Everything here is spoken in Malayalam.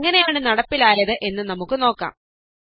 ഇത് എങ്ങനെയാണ് നടപ്പിലായത് എന്ന് നമുക്ക് നോക്കാ